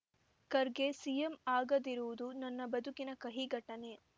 Kharge CM ಆಗದಿರುವುದು ನನ್ನ ಬದುಕಿನ ಕಹಿ ಘಟನೆ